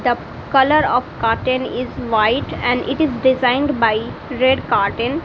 the colour of curtain is white and it is designed by red curtain.